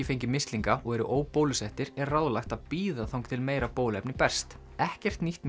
fengið mislinga og eru er ráðlagt að bíða þangað til meira bóluefni berst ekkert nýtt